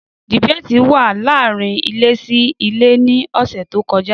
Dìbéètì wà láàárín ilé sí ilé ní ọ̀sẹ̀ tí ó kọjá